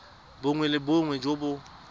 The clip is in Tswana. bongwe le bongwe jo bo